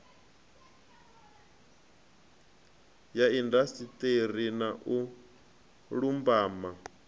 ya indasiṱeri na u lumbama